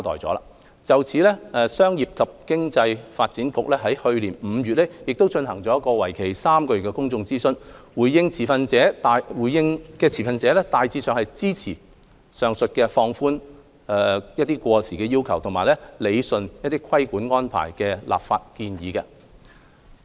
就此，商務及經濟發展局於去年5月亦進行了為期3個月的公眾諮詢，回應的持份者大致上支持上述的放寬過時要求及理順規管安排的立法建議。